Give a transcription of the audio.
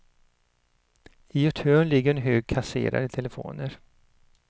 I ett hörn ligger en hög kasserade telefoner.